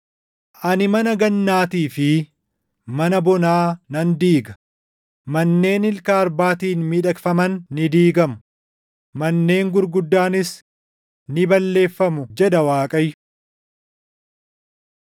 Ani mana gannaatii fi mana bonaa nan diiga; manneen ilka arbaatiin miidhagfaman ni diigamu; manneen gurguddaanis ni balleeffamu” jedha Waaqayyo.